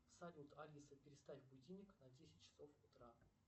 салют алиса переставь будильник на десять часов утра